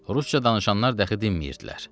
Rusca danışanlar dəxi dinmirdilər.